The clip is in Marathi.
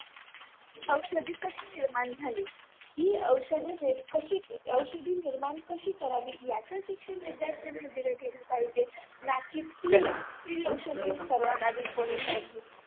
औषधी कशी निर्माण झाली ही औषधी कशी निर्माण करावी याच शिक्षण विध्यार्थांना दिल गेल पाहिजे ना की free औषधे सर्व्यांना दिली काढली